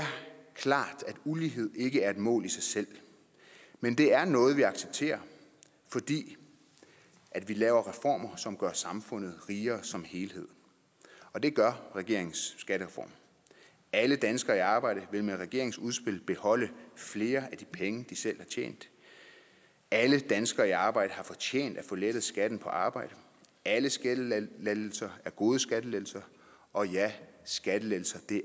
klart at ulighed ikke er et mål i sig selv men det er noget vi accepterer fordi vi laver reformer som gør samfundet rigere som helhed og det gør regeringens skattereform alle danskere i arbejde vil med regeringens udspil beholde flere af de penge de selv har tjent alle danskere i arbejde har fortjent at få lettet skatten på arbejde alle skattelettelser er gode skattelettelser og ja skattelettelser